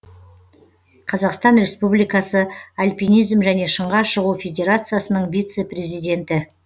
қазақстан республикасы альпинизм және шыңға шығу федерациясының вице президенті